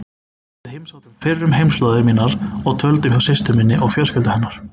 Við heimsóttum fyrrum heimaslóðir mínar og dvöldum hjá systur minni og fjölskyldu hennar.